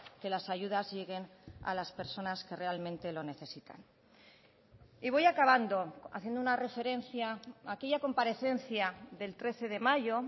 que las ayudas lleguen a las personas que realmente lo necesitan y voy acabando haciendo una referencia a aquella comparecencia del trece de mayo